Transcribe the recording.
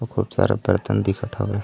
खूब सारे बर्तन दिखत हवय ।